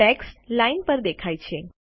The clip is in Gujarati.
ટેક્સ્ટ લાઈન પર દેખાય છે